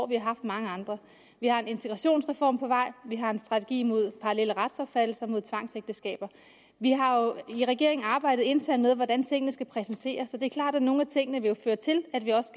vi har haft mange andre vi har en integrationsreform på vej og vi har en strategi mod parallelle retsopfattelser og mod tvangsægteskaber vi har jo i regeringen arbejdet internt med hvordan tingene skal præsenteres og det er klart at nogle af tingene vil føre til at vi også